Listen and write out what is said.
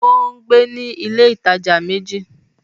Ó ń gbé ní ilé alájà méjì.